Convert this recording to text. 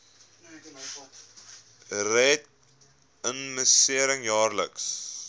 red immunisering jaarliks